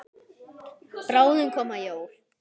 Bráðum koma jól.